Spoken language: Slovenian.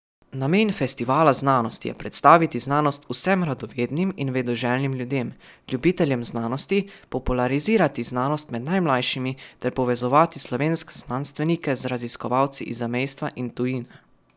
Namen festivala znanosti je predstaviti znanost vsem radovednim in vedoželjnim ljudem, ljubiteljem znanosti, popularizirati znanost med najmlajšimi ter povezovati slovenske znanstvenike z raziskovalci iz zamejstva in tujine.